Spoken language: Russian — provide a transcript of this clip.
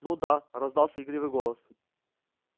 ну да раздался игривый голос